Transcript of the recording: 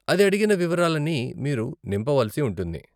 అది అడిగిన వివరాలని మీరు నింపవలసి ఉంటుంది.